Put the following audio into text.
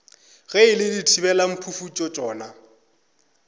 ge e le dithibelamphufutšo tšona